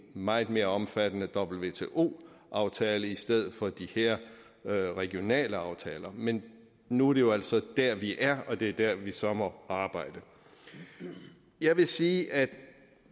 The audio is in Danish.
meget mere omfattende wto aftale i stedet for de her regionale aftaler men nu er det jo altså der vi er og det er der vi så må arbejde jeg vil sige at